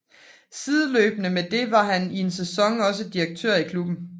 Sideløbende med det var han i en sæson også direktør i klubben